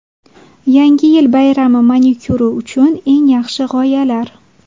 Yangi yil bayrami manikyuri uchun eng yaxshi g‘oyalar .